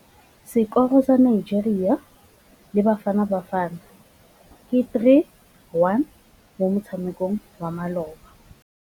Sekôrô sa Nigeria le Bafanabafana ke 3-1 mo motshamekong wa malôba.